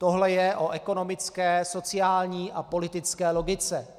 Tohle je o ekonomické, sociální a politické logice.